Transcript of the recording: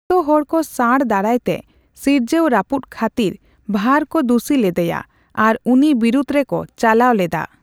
ᱟᱹᱛᱳ ᱦᱚᱲᱠᱚ ᱥᱟᱸᱬ ᱫᱟᱨᱟᱭ ᱛᱮ ᱥᱤᱨᱡᱟᱹᱣ ᱨᱟᱹᱯᱩᱫ ᱠᱟᱷᱟᱹᱛᱤᱨ ᱵᱷᱟᱨᱚ ᱠᱚ ᱫᱩᱥᱤ ᱞᱮᱫᱮᱭᱟ ᱟᱨ ᱩᱱᱤ ᱵᱤᱨᱩᱫ ᱨᱮᱠᱚ ᱪᱟᱞᱟᱣ ᱞᱮᱫᱟ ᱾